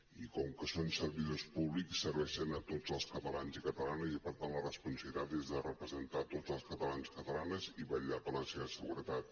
i com que són servidors públics serveixen a tots els catalans i catalanes i per tant la responsabilitat és de representar tots els catalans i catalanes i vetllar per la seva seguretat